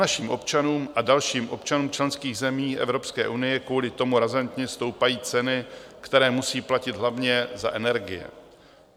Našim občanům a dalším občanům členských zemí Evropské unie kvůli tomu razantně stoupají ceny, které musí platit hlavně za energie.